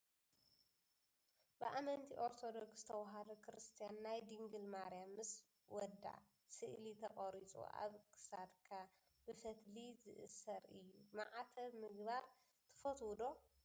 ብኣመንቲ ኦርቶዶክስ ተዋህዶ ክርስትያን ናይ ድንግል ማርያም ምስ ወዳ ስእሊ ተቀሪፁ ኣብ ክሳድካ ብፈትሊ ዝእሰር እዩ። ማዕተብ ምግባር ትፈትው ዶ?